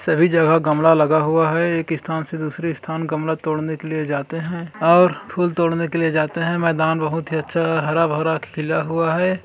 सभी जगह गमला लगा हुआ है एक स्थान से दूसरे स्थान गमला तोड़ने के लिए जाते हैं और फूल तोड़ने के लिए जाते हैं मैदान बहुत ही अच्छा हरा भरा खिला हुआ है।